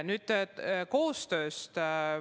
Nüüd koostööst.